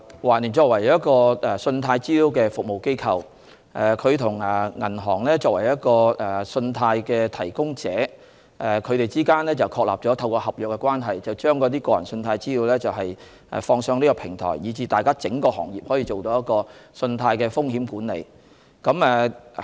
環聯作為一家信貸資料服務機構，在與作為信貸提供者的銀行之間，透過合約確立了合作關係後，把個人信貸資料上載網上平台，以讓整個行業進行信貸風險管理。